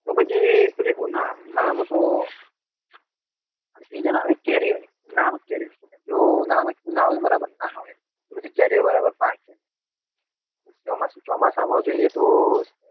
તો પછી તો કે ઉનાળો ઉનાળા મા તો સીજન આવે કેરી ની જો ઉનાળો બરાબર નાં આવે તો પછી કેરીઓ બરાબર પાકે ના ચોમાસું ચોમાસા માં જોઈએ તો